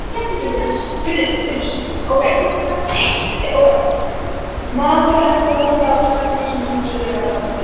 Maður heldur alltaf með sakleysinu og trúir á það.